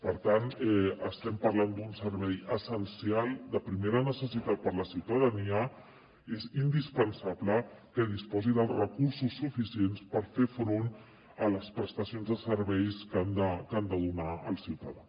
per tant estem parlant d’un servei essencial de primera necessitat per a la ciutadania és indispensable que disposi dels recursos suficients per fer front a les prestacions de serveis que han de donar al ciutadà